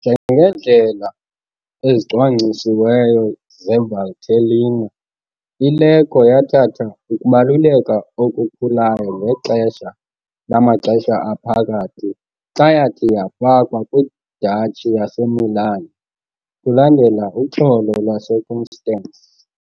Njengeendlela ezicwangcisiweyo zeValtellina, iLecco yathatha ukubaluleka okukhulayo ngexesha lamaXesha Aphakathi xa yathi yafakwa kwiDuchy yaseMilan kulandela uXolo lwaseConstance.